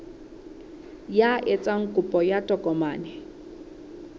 ya etsang kopo ya tokomane